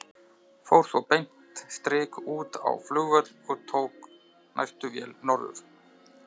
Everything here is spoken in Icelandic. Fór svo beint strik út á flugvöll og tók næstu vél norður.